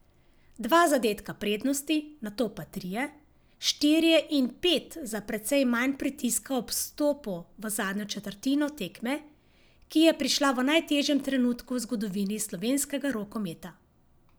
Dva zadetka prednosti, nato pa trije, štirje in pet za precej manj pritiska ob vstopu v zadnjo četrtino tekme, ki je prišla v najtežjem trenutku v zgodovini slovenskega rokometa.